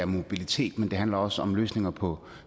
mobilitet men det handler også om løsninger på